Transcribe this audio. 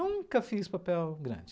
Nunca fiz papel grande.